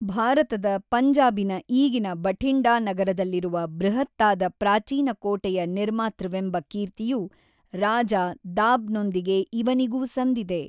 ಭಾರತದ ಪಂಜಾಬಿನ ಈಗಿನ ಬಠಿಂಡಾ ನಗರದಲ್ಲಿರುವ ಬೃಹತ್ತಾದ ಪ್ರಾಚೀನ ಕೋಟೆಯ ನಿರ್ಮಾತೃವೆಂಬ ಕೀರ್ತಿಯು ರಾಜ ದಾಬ್‌ನೊಂದಿಗೆ ಇವನಿಗೂ ಸಂದಿದೆ.